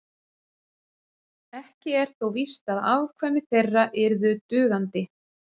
Ekki er þó víst að afkvæmi þeirra yrðu dugandi.